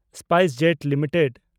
SpiceJet limited